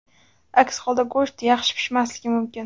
Aks holda go‘sht yaxshi pishmasligi mumkin.